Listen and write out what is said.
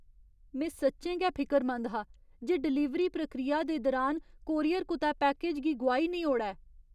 में सच्चें गै फिकरमंद हा जे डलीवरी प्रक्रिया दे दरान कोरियर कुतै पैकेज गी गोआई निं ओड़ै।